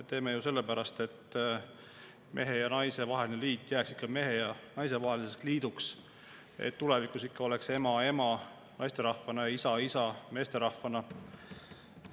Teeme ju sellepärast, et mehe ja naise vaheline liit jääks ikka mehe ja naise vaheliseks liiduks, et tulevikus ikka ema oleks ema naisterahvana ja isa oleks isa meesterahvana.